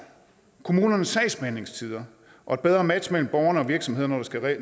kommunernes sagsbehandlingstider og et bedre match mellem borgerne og virksomhederne